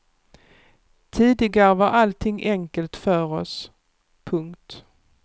Tidigare var allting enkelt för oss. punkt